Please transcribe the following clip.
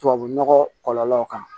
Tubabu nɔgɔ kɔlɔlɔ kan